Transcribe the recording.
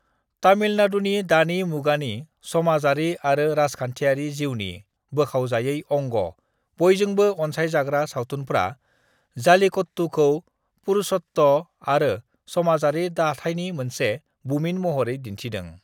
तामिलनाडुनि दानि मुगानि समाजारि आरो राजखान्थियारि जिउनि बोखावजायै अंग बयजोंबो अनसायजाग्रा सावथुनफ्रा जल्लीकट्टूखौ पुरुषत्व आरो समाजारि दाथाइनि मोनसे बुमिन महरै दिन्थिदों।